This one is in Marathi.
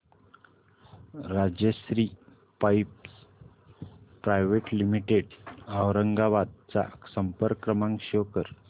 Rajshri pipes private limited Aurangabad चा संपर्क क्रमांक शो कर